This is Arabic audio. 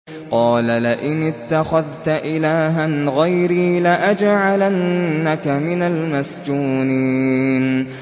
قَالَ لَئِنِ اتَّخَذْتَ إِلَٰهًا غَيْرِي لَأَجْعَلَنَّكَ مِنَ الْمَسْجُونِينَ